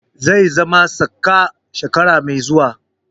Zai zama saka shekara mai zuwa.